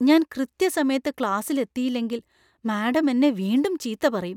ഞാൻ കൃത്യസമയത്ത് ക്ലാസിൽ എത്തിയില്ലെങ്കിൽ മാഡം എന്നെ വീണ്ടും ചീത്ത പറയും .